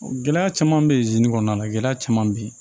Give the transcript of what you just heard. Gɛlɛya caman bɛ ye zen kɔnɔna la gɛlɛya caman bɛ ye